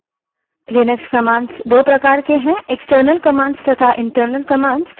Linux commands दो प्रकार की हैं : external commands तथा internal commands